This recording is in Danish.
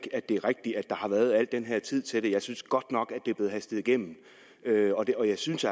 at det er rigtigt at der har været al den her tid til det for jeg synes godt nok at det er blevet hastet igennem og jeg synes